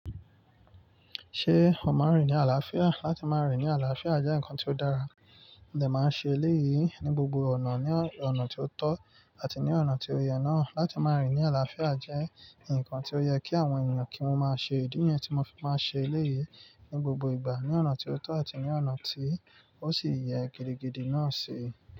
Ṣé ọ máa rìn ní àlàáfíà? Láti máa rìn ní àlàáfíà jẹ́ nǹkan tó dára, mòdẹ̀ máa ń ṣe eléyìí ní gbogbo ọ̀nà, ní ọ̀nà tó tọ́ àti ní ọ̀nà tí ó yẹ náà. Láti máa rìn ní àlàáfíà jẹ́ nǹkan tí ó yẹ kí àwọn ènìyàn kí wọ́n máa ṣe. Idi ni yẹn tí mo fi máa ń ṣe eléyìí ní gbogbo ìgbà, ní ọ̀nà tí ó tọ́ àti ní ọ̀nà tí ó sì yẹ gidigidi náà ṣe.